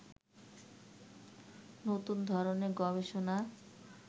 নতুন ধরনের গবেষণার